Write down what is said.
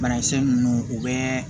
Banakisɛ ninnu u bɛ